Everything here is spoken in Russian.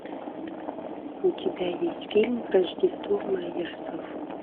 у тебя есть фильм рождество мэйерсов